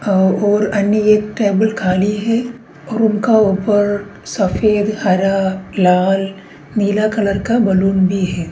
अ-और अन्य एक टेबल खाली है और उनका ऊपर सफेद हरा लाल नीला कलर का बलून भी है।